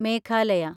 Meghalaya